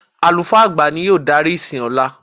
Àlùfáà àgbà ni yóò darí ìsìn lọ́la.